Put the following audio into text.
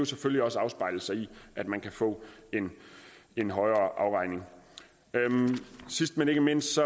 selvfølgelig også afspejle sig i at man kan få en højere afregning sidst men ikke mindst